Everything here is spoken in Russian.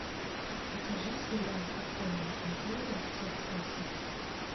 покажи сериал подпольная империя часть восемь